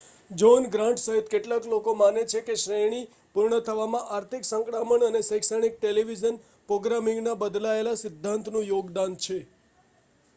John Grant સહિત કેટલાક લોકો માને છે કે શ્રેણી પૂર્ણ થવામાં આર્થિક સંકડામણ અને શૈક્ષણિક ટેલિવિઝન પ્રોગ્રામિંગના બદલાયેલા સિદ્ધાંતનું યોગદાન છે